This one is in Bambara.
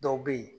Dɔw bɛ yen